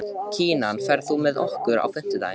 Kinan, ferð þú með okkur á fimmtudaginn?